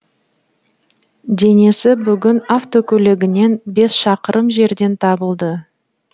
денесі бүгін автокөлігінен бес шақырым жерден табылды